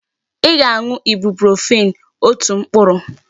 Ị ga-aṅụ Ibuprofen otu mkpụrụ!